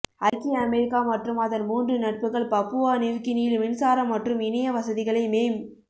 ஐக்கிய அமெரிக்கா மற்றும் அதன் மூன்று நட்புகள் பப்புவா நிவ்கினியில் மின்சார மற்றும் இணைய வசதிகளை மேம்